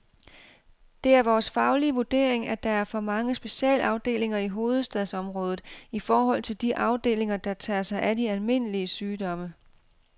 Det er vores faglige vurdering, at der er for mange specialafdelinger i hovedstadsområdet i forhold til de afdelinger, der tager sig af de almindelige sygdomme.